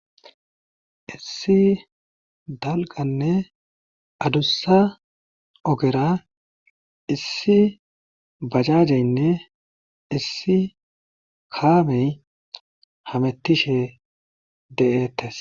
Issi dalgganne adussa ogera issi bajaajeynne issi kaamey hamettishe de7eettes.